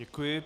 Děkuji.